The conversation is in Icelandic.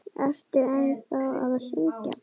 Ertu ennþá að syngja?